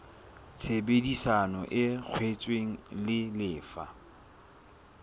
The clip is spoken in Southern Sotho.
tshebedisano e kwetsweng e lefa